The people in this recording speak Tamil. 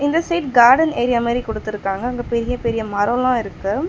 இந்த சைட் கார்டன் ஏரியா மாரி குடுத்துருக்காங்க அங்க பெரிய பெரிய மரோல்லா இருக்கு.